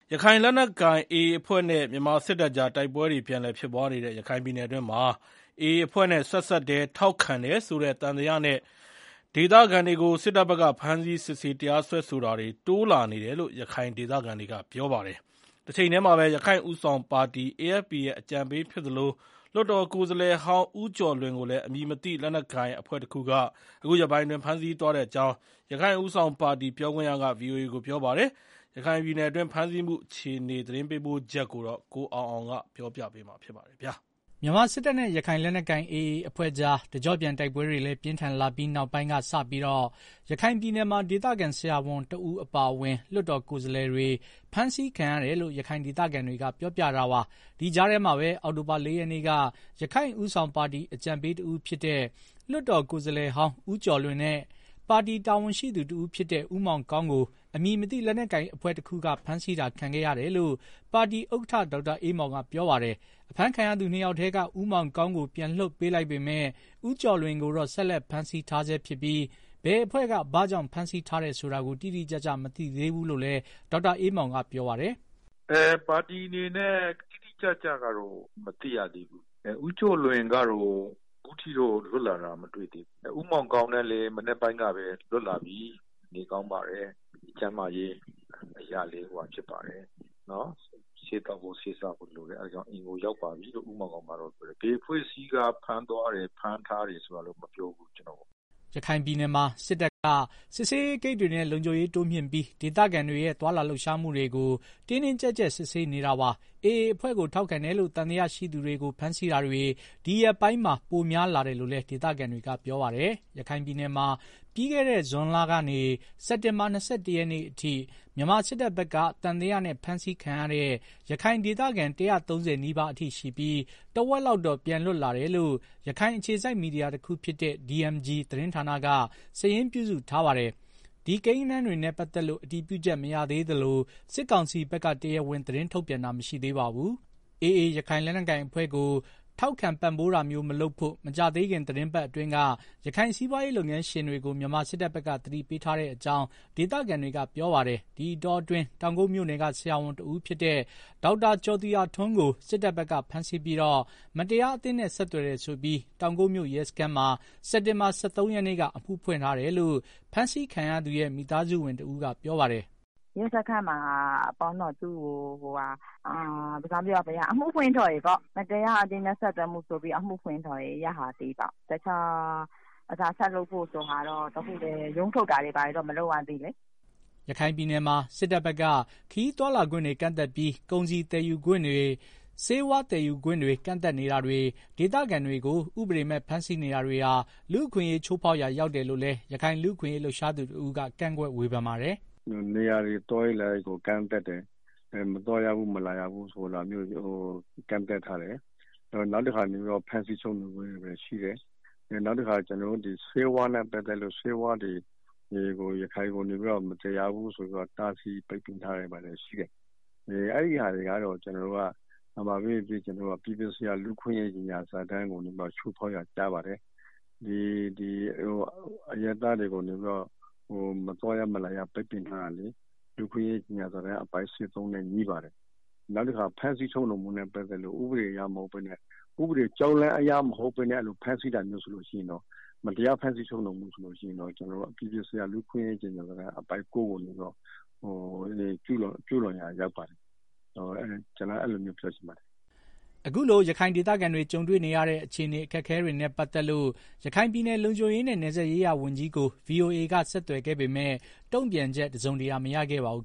ရခိုင်လက်နက်ကိုင် AA အဖွဲ့နဲ့ မြန်မာစစ်တပ်ကြား တိုက်ပွဲတွေ ပြန်လည်ဖြစ်ပွားနေတဲ့ ရခိုင်ပြည်နယ်မှာ AA အဖွဲ့နဲ့ ဆက်စပ်တယ်၊ AA အဖွဲ့ကို ထောက်ခံတယ်ဆိုတဲ့သံသယနဲ့ ဒေသခံတွေကို စစ်တပ်ဘက်က ဖမ်းဆီးစစ်ဆေးတရားစွဲဆိုတာတွေ တိုးလာနေတယ်လို့ ရခိုင်ဒေ သခံတွေကပြောပါတယ်။ တချိန်တည်းမှာပဲ ရခိုင့်ဦးဆောင်ပါတီ AFP ရဲ့ အကြံပေးဖြစ်သလို လွှတ်တော်ကိုယ်စားလှယ်ဟောင်း ဦးကျော်လွင်ကိုလည်း အမည်မသိ လက်နက်ကိုင်အဖွဲ့တခုက အခုရက်ပိုင်းအတွင်း ဖမ်းဆီးသွားကြောင်း ရခိုင်ဦးဆောင်ပါတီ ပြောခွင့်ရက VOA ကို ပြောပါတယ်။ ရခိုင်ပြည်နယ်အတွင်း ဖမ်းဆီးမှု အခြေအနေ ရန်ကုန်ကလာတဲ့ သတင်းပေးပို့ချက်ကို ကိုအောင်အောင်က တင်ပြပေးထားပါတယ်။ မြန်မာစစ်တပ်နဲ့ ရခိုင်လက်နက်ကိုင် AA အဖွဲ့ကြား တကျော့ပြန်တိုက်ပွဲတွေ ပြင်းထန်လာချိန်ကစပြီး ရခိုင်ပြည်နယ်မှာ ဒေသခံ ဆရာဝန်တဦးအပါအဝင် လွှတ်တော်ကိုယ်စားလှယ်တွေ ဖမ်းဆီးခံရတယ်လို့ ရခိုင်ဒေသခံတွေက ပြောပြကြပါတယ်။ ဒီ ကြားထဲမှာပဲ အောက်တိုဘာ ၄ ရက်နေ့က ရခိုင့်ဦးဆောင်ပါတီအကြံပေးတဦးဖြစ်တဲ့ လွှတ်တော်ကိုယ်စားလှယ်ဟောင်းဦးကျော်လွင်နဲ့ ပါတီတာဝန်ရှိသူတဦးဖြစ်တဲ့ ဦးမောင်ကောင်းကို အမည်မသိလက်နက်ကိုင်အဖွဲ့တခုက ဖမ်းဆီးတာခံခဲ့ရတယ်လို့ ပါတီဥက္ကဋ္ဌ ဒေါက်တာအေးမောင်က ပြောပါတယ်။ အဖမ်းခံရသူ ၂ ယောက်ထဲက ဦးမောင်ကောင်းကို ပြန်လွှတ်ပေးလိုက်ပေမယ့် ဦးကျော်လွင် ကိုတော့ ဆက်လက်ဖမ်းဆီးထားဆဲဖြစ်ပြီး ဘယ်အဖွဲ့က ဘာကြောင့် ဖမ်းဆီးထားတယ်ဆိုတာကို တိတိကျကျ မသိသေးဘူးလို့လည်း ဒေါက်တာ အေးမောင်ကပြောပါတယ်။ “ပါတီအနေနဲ့ တိတိကျကျမသိရသေးဘူး။ ဦးကျော်လွင်ကတော့ အခုအချိန်ထိ လွတ်လာတာ မတွေ့ရသေးဘူး။ ဦးမောင်ကောင်းနဲ့ကတော့ မနက်ပိုင်းကလွတ်လာပြီ။ နေကောင်းပါတယ်။ ကျန်းမာရေးအရလည်း ဆေးသောက်ဖို့လိုအပ်တာကြောင့် အိမ်ကို ရောက်ပါပြီလို့ ပြောတယ်။ ဘယ်အဖွဲ့ကဖမ်းသွားတယ်၊ ဖမ်းထားတယ်ဆိုတာတော့ မပြောဘူး-ကျနော့်ကို။” ရခိုင်ပြည်နယ်မှာ စစ်တပ်က စစ်ဆေးရေးဂိတ်တွေနဲ့ လုံခြုံရေးတိုးမြှင့်ပြီး ဒေသခံတွေရဲ့ သွားလာလှုပ်ရှားမှုတွေကို တင်းတင်းကြပ်ကြပ် စစ်ဆေးနေတာပါ။ AA အဖွဲ့ကို ထောက်ခံတယ်လို့ သံသယရှိသူတွေကို ဖမ်းဆီးတာတွေ ဒီရက်ပိုင်းမှာ ပိုများလာတယ်လို့လည်း ဒေသခံတွေက ပြောပါတယ်။ ရခိုင်ပြည်နယ်မှာ ပြီးခဲ့တဲ့ ဇွန်လကနေ စက်တင်ဘာလ ၂၁ ရက်နေ့ထိ မြန်မာစစ်တပ်ဘက်က သံသယနဲ့ ဖမ်းဆီးခံရတဲ့ ရခိုင်ဒေသခံ ၁၃၀ နီးပါးအထိရှိပြီး တဝက်လောက်ကတော့ ပြန်လွတ်လာတယ်လို့ ရခိုင်အခြေစိုက် မီဒီယာတခုဖြစ်တဲ့ DMG သတင်းဌာနက စာရင်းပြုစုထားပါတယ်။ ဒီကိန်းဂဏန်းတွေနဲ့ ပတ်သက်လို့ အတည်ပြုချက်မရသေးသလို စစ်ကောင်စီဘက်က တရားဝင် သတင်းထုတ်ပြန်တာတော့ မရှိသေးပါဘူး။ AA ရခိုင်လက်နက်ကိုင်အဖွဲ့ ကို ထောက်ခံပံ့ပိုးတာမျိုး မလုပ်ဖို့ မကြာသေးခင် သီတင်းပတ်အတွင်းက ရခိုင်စီးပွားရေးလုပ် ငန်းရှင်တွေကို မြန်မာစစ်တပ်ဘက်က သတိပေးထားတဲ့အကြောင်း ဒေသခံတွေက ပြောပါတယ်။ ဒီအတောအတွင်း တောင်ကုတ်မြို့နယ်က ဒေါက်တာ ကျော်သူရထွန်းကို စစ်တပ်ဘက်က ဖမ်းဆီးပြီး မတရားအသင်းနဲ့ဆက်သွယ်တယ်ဆိုပြီး တောင်ကုတ်မြို့ ရဲစခန်းမှာ စက်တင်ဘာလ ၁၃ ရက်နေ့က အမှုဖွင့်ထားတယ်လို့ ဖမ်းဆီးခံရသူရဲ့ မိသားစုဝင်တဦးကပြောပါတယ်။ “ရဲစခန်းပေါ့နော် မတရားအသင်းနဲ့ဆက်သွယ်မှုဆိုပြီးတော့ အမှုဖွင့်ထားတယ်၊ နောက်ဘာတွေ ဆက်လုပ်မယ်ဆိုတာတော့ မသိရသေး။ ရုံးထုတ်တာတွေဘာတွေလည်း မရှိသေးဘူးလေ။” ရခိုင်ပြည်နယ်မှာ စစ်တပ်ဘက်က ခရီးသွားလာခွင့်တွေကန့်သတ်ပြီး ကုန်စည်သယ်ယူခွင့်၊ ဆေးဝါးသည်ယူခွင့် ကန့်သတ်နေတာတွေ၊ ဒေသခံတွေကို ဥပဒေမဲ့ ဖမ်းဆီးနေတာတွေဟာ လူ့အခွင့်အရေးချိုး ဖောက်ရာရောက်တယ်လို့လည်း ရခိုင်လူ့အခွင့်ရေး လှုပ်ရှားသူတဦးက ကန့်ကွက်ဝေဖန်ပါတယ်။ “နေရာတွေ၊ သွားရေးလာရေးတွေ ကန့်သတ်တယ်။ မသွားရဘူး မလာရဘူးဆိုတာမျိုး၊ နောက်တခါ ဖမ်းဆီးချုပ်နှောင်တာတွေရှိတယ်။ နောက်တခုကတော့ ဆေးဝါးတွေကို ရခိုင်ကို မသယ်ရဘူး ဆိုပြီးတော့ တားဆီးပိတ်ပင်ထားတာတွေ ဘာတွေရှိတယ်။ အဲဒါတွေက အပြည်ပြည် ဆိုင်ရာ လူ့အခွင့်ရေး ကြေငြာစာတမ်းကို ချိုးဖောက်ရာကျတယ်။ အရပ်သားတွေကို မသွားရ မလာရ ပိတ်ပင်ထားတာက လူ့အခွင့်အရေး ကြေငြာစာတမ်း အပိုဒ် ၁၃ နဲ့ ငြိပါတယ်။ နောက်တခါ ဖမ်းဆီးတာက ဥပဒေကြောင်းအရ ဖမ်းဆီးတာမဟုတ်ဘဲ မတရားဖမ်းဆီးတာဆိုရင် အပြည်ပြည်ဆိုင်ရာလူ့အခွင့်အရေးကြေငြာစာတမ်း အပိုဒ် ၉ ကိုကျူးလွန်ရာရောက်ပါတယ်။” အခုလို ရခိုင်ဒေသခံတွေ ကြုံတွေ့နေရတဲ့ အခြေအနေ အခက်အခဲတွေနဲ့ ပတ်သက်လို့ ရခိုင်ပြည်နယ် လုံခြုံရေးနဲ့ နယ်စပ်ရေးရာဝန်ကြီးကို ဗွီအိုအေက ဆက်သွယ်ခဲ့ပေမယ့် တုံ့ပြန်ချက် တစုံတရာ မရခဲ့ပါဘူး